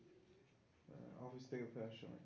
office থেকে ফেরার সময়